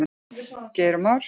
Geir og Már.